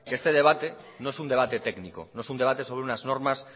que este debate no es un debate técnico no es un debate sobre unas normas